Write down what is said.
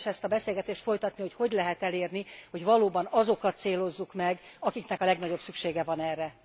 Érdemes ezt a beszélgetést folytatni, hogy hogy lehet elérni, hogy valóban azokat célozzuk meg, akiknek a legnagyobb szükségük van erre.